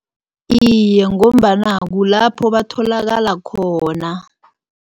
Iye, ngombana kulapho batholakala khona.